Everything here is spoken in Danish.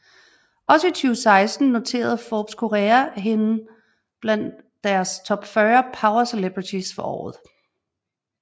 Også i 2016 noterede Forbes Korea hende blandt deres Top 40 Power Celebrities for året